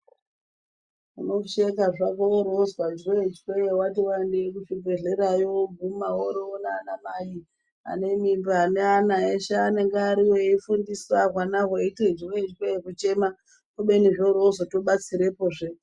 Unosheka hako woro wozwe jwechwe wati waendeyo kuchibhehleyayo wogume woro wowone anamai ane mimba ane ana eshe anenge ariyo eshe eyifundiswe ana eyiite jwechwe kuchema kubeni zviro zvozotobatsirahe mangwani